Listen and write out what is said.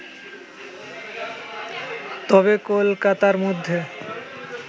তবে কলকাতার মধ্যে